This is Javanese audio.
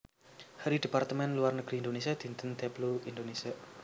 Hari Departemen Luar Negeri Indonésia Dinten Deplu Indonésia